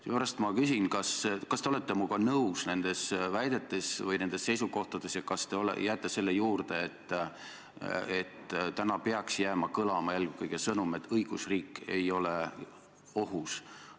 Seepärast ma küsin, kas te olete minuga nõus nendes väidetes või nendes seisukohtades ja kas te jääte selle juurde, et täna peaks jääma kõlama eelkõige sõnum, et õigusriik ei ole ohus.